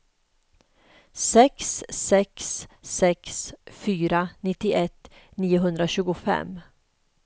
sex sex sex fyra nittioett niohundratjugofem